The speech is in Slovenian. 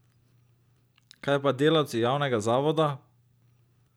Kaj pa delavci javnega zavoda?